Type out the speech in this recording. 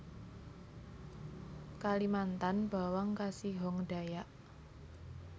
Kalimantan bawang kasihong Dayak